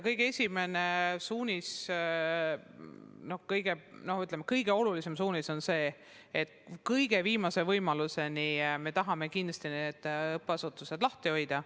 Kõige esimene suunis, kõige olulisem suunis on see, et viimase võimaluseni me tahame kindlasti õppeasutused lahti hoida.